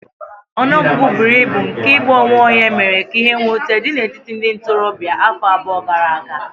Ọnụ ọgụgụ buru ibu nke igbu onwe onye mere ka ihe mwute dị n'etiti ndị ntorobịa afọ abụọ gara aga.